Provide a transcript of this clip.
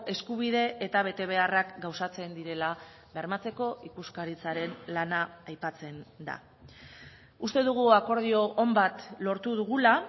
eskubide eta betebeharrak gauzatzen direla bermatzeko ikuskaritzaren lana aipatzen da uste dugu akordio on bat lortu dugula